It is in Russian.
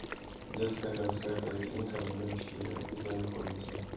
детская городская поликлиника номер четыре где находится